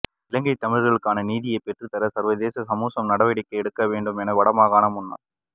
இலங்கை தமிழர்களுக்கு நீதியைப் பெற்றுத்தர சர்வதேச சமூசம் நடவடிக்கை எடுக்க வேண்டும் என வடமாகாண முன்னாள